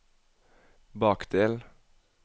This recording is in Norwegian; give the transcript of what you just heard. bakdel